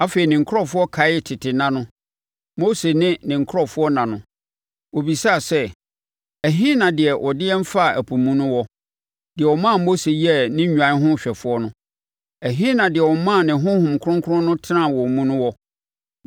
Afei ne nkurɔfoɔ kaee tete nna no, Mose ne ne nkurɔfoɔ nna no. Wɔbisaa sɛ, ɛhe na deɛ ɔde wɔn faa ɛpo mu no wɔ? Deɛ ɔmaa Mose yɛɛ ne nnwan no hwɛfoɔ no. Ɛhe na deɛ ɔmaa ne Honhom Kronkron no tenaa wɔn mu no wɔ?